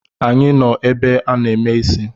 Anyị nọ n’ebe a na-eme isi